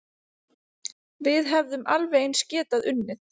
Við hefðum alveg eins getað unnið